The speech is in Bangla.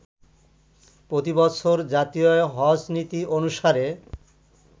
প্রতিবছর জাতীয় হজ্জ্বনীতি অনুসারে